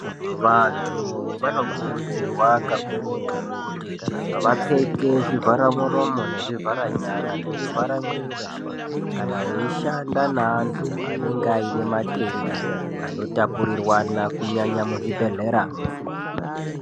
vantu vanokurudzirwa kakurutu kuti vapfeke zvivhara nyara, zvivhara muromo nezvivhara mwiri weshe ,kana veishanda nevanhu vanenge vaine matenda anotapurirwana kunyanya muzvibhehleya mwo.